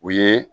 U ye